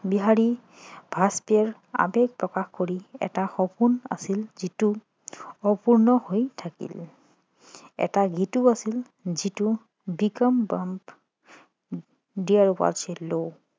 বিহাৰী বাজপেয়ীয়ে আবেগ প্ৰকাশ কৰি এটা সপোন আছিল যিটো অপূৰ্ণ হৈ থাকিল এটা গীতো আছিল যিটো